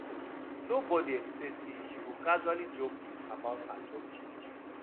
nobody expect say she go casually drop news about her job change